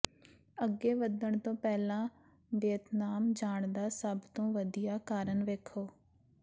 ਅੱਗੇ ਵਧਣ ਤੋਂ ਪਹਿਲਾਂ ਵੀਅਤਨਾਮ ਜਾਣ ਦਾ ਸਭ ਤੋਂ ਵਧੀਆ ਕਾਰਨ ਵੇਖੋ